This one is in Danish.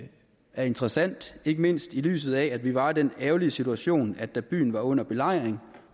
er interessant ikke mindst i lyset af at vi var i den ærgerlige situation at da byen var under belejring